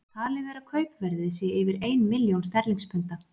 Talið er að kaupverðið sé yfir ein milljón sterlingspunda.